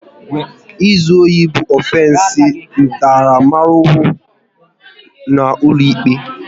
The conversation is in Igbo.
Ịzụ ohi bụ ọfensi ntaramahụhụ n'ụlọikpe